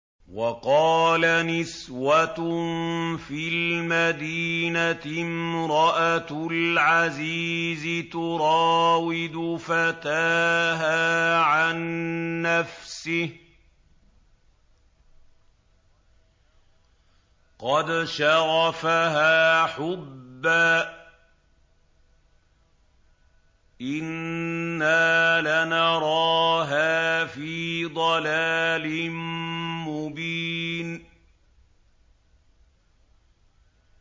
۞ وَقَالَ نِسْوَةٌ فِي الْمَدِينَةِ امْرَأَتُ الْعَزِيزِ تُرَاوِدُ فَتَاهَا عَن نَّفْسِهِ ۖ قَدْ شَغَفَهَا حُبًّا ۖ إِنَّا لَنَرَاهَا فِي ضَلَالٍ مُّبِينٍ